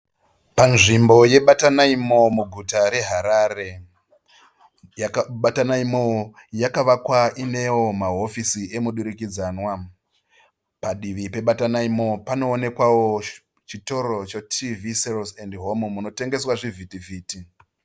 Panzvimbo yeBatanai Mall muguta reHarare. Batanai Mall yakavakwa iinewo mahofi emudurikudzwana. Padivi peBatanai Mall panooekwawo chitoro choTV Sales and Home munotengeswa zvivhiti-vhiti.